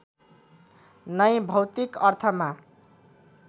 नै भौतिक अर्थमा